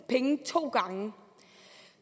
pengene to gange